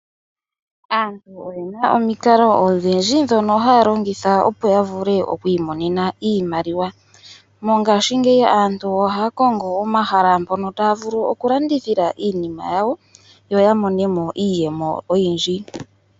Aantu oye na omikalo odhindji dhono dhono haya longitha opo ya vule oku imonenamo iimaliwa. Mongaashingeyi aantu ohaya Kongo omahala mpono taya vulu okulandithila iinima yawo yo ya mone mo iiyemo oyindji.